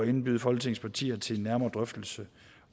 indbyde folketingets partier til en nærmere drøftelse